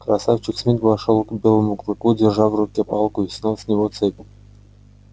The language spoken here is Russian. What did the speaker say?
красавчик смит вошёл к белому клыку держа в руке палку и снял с него цепь